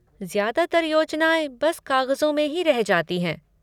ज्यादातर योजनाएँ बस कागज़ों में ही रह जाती हैं।